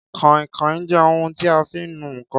Kàinkàin jẹ́ ohun tí a fi ń nu ǹkan